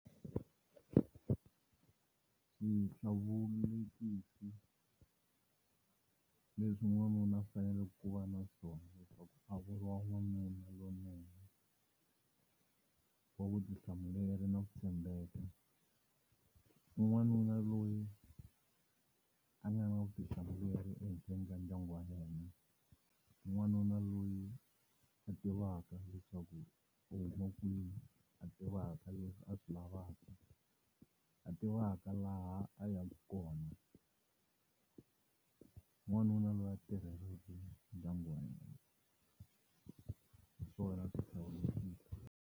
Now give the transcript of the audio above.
Swihlawulekisi leswi n'wanuna u fanele ku va naswona leswaku a vuriwa n'wanuna lowunene wa vutihlamuleri no tshembeka i n'wanuna loyi a nga na vutihlamuleri endla ndyangu wa yena n'wanuna loyi a tivaka leswaku u huma kwihi a tivaka leswi a swi lavaka a tivaka laha a yaka kona n'wanuna loyi a tirhelaka ndyangu wa yena hi swona swihlawulekisi.